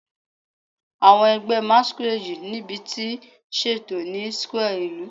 Awọn ẹgbẹ Masquerade nibiti ṣeto ni square ilu